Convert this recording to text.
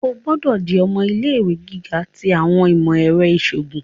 O gbọdọ di ọmọ ilé-ìwé giga ti awọn imọ-ẹrọ iṣoogun!